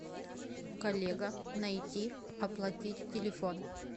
коллега найти оплатить телефон